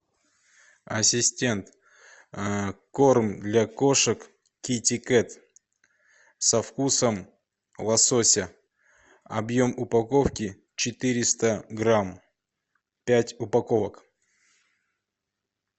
ассистент корм для кошек кити кет со вкусом лосося объем упаковки четыреста грамм пять упаковок